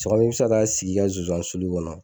i bɛ se ka t'a sigi i ka nsonsannin sulu kɔnɔ